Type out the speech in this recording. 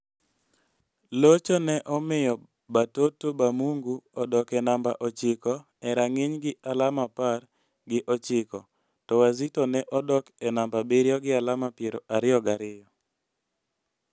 Locho ne omiyo Batoto ba Mungu odok e namba ochiko e rang'iny gi alama apar gi ochiko, to Wazito ne odok e namba abiriyo gi alama piero ariyo gi ariyo.